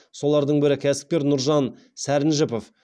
солардың бірі кәсіпкер нұржан сәрінжіпов